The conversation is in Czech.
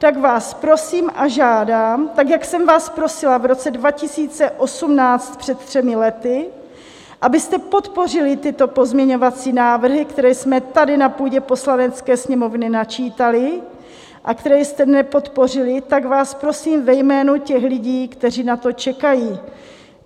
Tak vás prosím a žádám, tak jak jsem vás prosila v roce 2018, před třemi lety, abyste podpořili tyto pozměňovací návrhy, které jsme tady na půdě Poslanecké sněmovny načítali a které jste nepodpořili, tak vás prosím ve jménu těch lidí, kteří na to čekají.